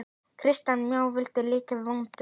Kristján Már: Var lyktin vond?